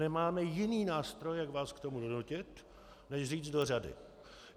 Nemáme jiný nástroj, jak vás k tomu donutit, než říct - do řady.